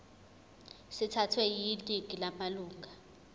sithathwe yiningi lamalunga